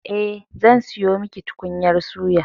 Eh, zan sayo miki tukunyar suya.